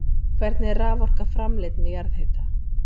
Hvernig er raforka framleidd með jarðhita?